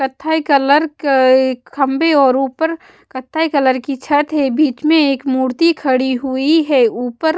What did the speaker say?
कत्थई कलर के खंभे और ऊपर कत्थई कलर की छत है बीच में एक मूर्ति खड़ी हुई है ऊपर --